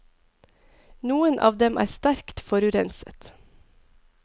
Noen av dem er sterkt forurenset.